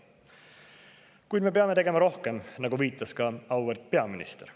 Kuid me peame tegema rohkem, nagu viitas ka auväärt peaminister.